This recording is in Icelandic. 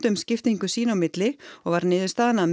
um skiptingu sín á milli og var niðurstaðan að